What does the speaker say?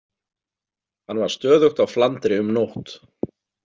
Hann var stöðugt á flandri um nótt.